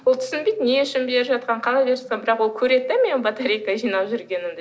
ол түсінбейді не үшін беріп жатқанын қалай беріп жатқанын бірақ ол көреді де менің батарейка жинап жүргенімді